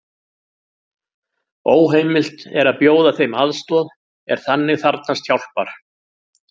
Óheimilt er að bjóða þeim aðstoð er þannig þarfnast hjálpar.